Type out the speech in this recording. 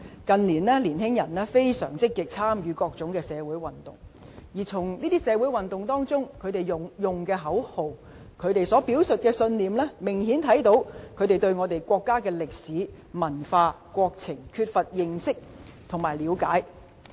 近年，年輕人相當積極參與各項社會運動，而從他們在這些社會運動中使用的口號和表述的信念，明顯看到他們對國家歷史、文化和國情缺乏認識和了解。